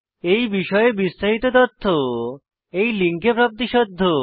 এই বিষয়ে বিস্তারিত তথ্য এই লিঙ্কে প্রাপ্তিসাধ্য